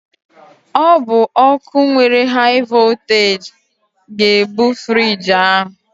Ọ bụ ọkụ nwere haị vọlteeji ga-ebu friiji ahụ.